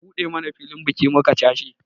An buɗe mana filin biki muka cashe